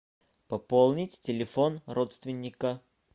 пополнить телефон родственника